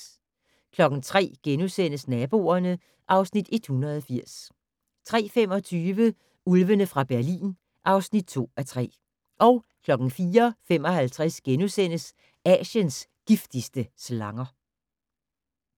03:00: Naboerne (Afs. 180)* 03:25: Ulvene fra Berlin (2:3) 04:55: Asiens giftigste slanger *